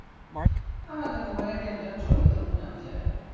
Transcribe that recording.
আমাদের mobile game time চলবে তোর মনে হয়েছে?